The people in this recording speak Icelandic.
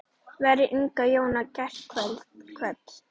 Veri Inga Jóna kært kvödd.